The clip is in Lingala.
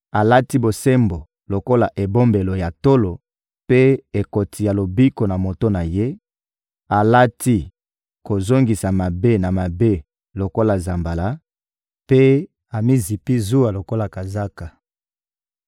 Alati bosembo lokola ebombelo ya tolo, mpe ekoti ya lobiko na moto na Ye; alati kozongisa mabe na mabe lokola nzambala, mpe amizipi zuwa lokola kazaka.